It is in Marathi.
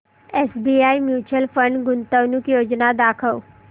एसबीआय म्यूचुअल फंड गुंतवणूक योजना दाखव